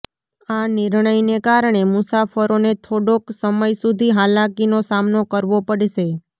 આ નિર્ણયને કારણે મુસાફરોને થોડોક સમય સુધી હાલાકીનો સામનો કરવો પડશે